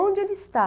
Onde ele está?